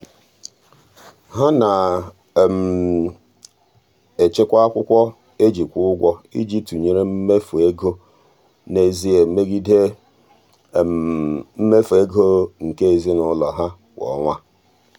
ha na-echekwa akwụkwọ e ji kwụ ụgwọ iji tụnyere mmefu ego n'ezie megide mmefu ego nke ezinụụlọ ha kwa ọnwa.